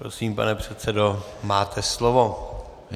Prosím, pane předsedo, máte slovo.